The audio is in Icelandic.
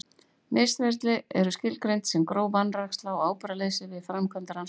Misferli eru skilgreind sem gróf vanræksla og ábyrgðarleysi við framkvæmd rannsókna.